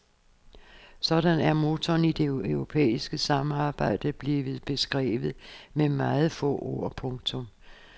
Sådan er motoren i det europæiske samarbejde blevet beskrevet med meget få ord. punktum